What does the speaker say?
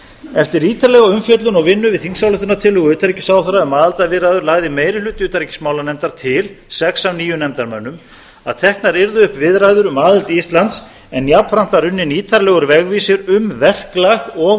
eftir ítarlega umfjöllun og vinnu við þingsályktunartillögu utanríkisráðherra um aðildarviðræður lagði meiri hluti utanríkismálanefndar til sex af níu nefndarmönnum að teknar yrðu upp viðræður um aðild íslands en jafnframt var unninn ítarlegur vegvísir um verklag og